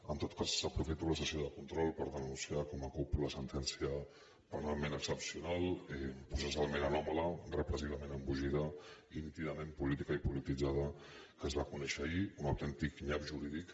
en tot cas aprofito la sessió de control per denunciar com a cup la sentència penalment excepcional processalment anòmala repressivament embogida i nítidament política i polititzada que es va conèixer ahir un autèntic nyap jurídic